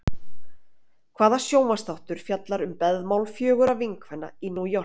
Hvaða sjónvarpsþáttur fjallar um beðmál fjögurra vinkvenna í New York?